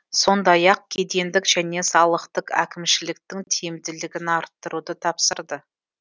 сондай ақ кедендік және салықтық әкімшіліктің тиімдігілін арттыруды тапсырды